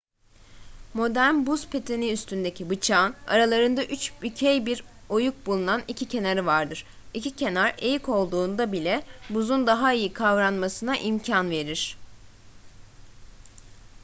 modern buz pateni üstündeki bıçağın aralarında içbükey bir oyuk bulunan iki kenarı vardır. i̇ki kenar eğik olduğunda bile buzun daha iyi kavranmasına imkan verir